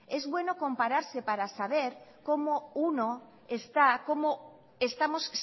es bueno compararse para saber cómo uno está cómo estamos